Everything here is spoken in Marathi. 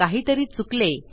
काहीतरी चुकले